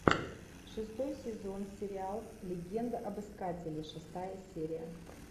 шестой сезон сериал легенда об искателе шестая серия